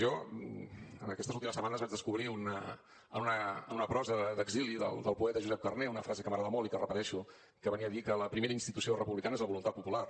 jo en aquestes últimes setmanes vaig descobrir en una prosa d’exili del poeta josep carner una frase que m’agrada molt i que repeteixo que venia a dir que la primera institució republicana és la voluntat popular